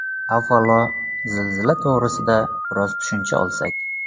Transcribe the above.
Avvalo, zilzila to‘g‘risida biroz tushuncha olsak.